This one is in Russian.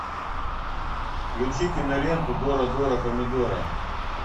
включи киноленту дора дора помидора